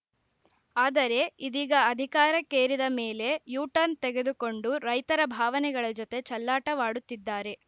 ಆದರೆ ಇದೀಗ ಅಧಿಕಾರಕ್ಕೇರಿದ ಮೇಲೆ ಯೂ ಟರ್ನ್‌ ತೆಗೆದುಕೊಂಡು ರೈತರ ಭಾವನೆಗಳ ಜತೆ ಚೆಲ್ಲಾಟವಾಡುತ್ತಿದ್ದಾರೆ